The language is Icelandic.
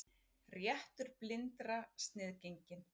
Réttur blindra sniðgenginn